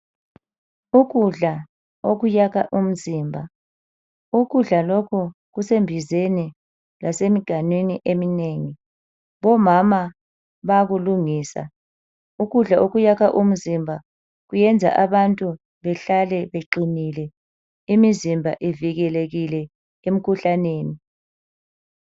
Ukudla okuyakha umzimba, ukudla lokhu kusembizeni lasemganwini eminengi. Omama bayakulungisa. Ukudla okuyakha umzimba kuyenza abantu behlale beqinile. Imizimba ivikelekile emikhuhlaneni.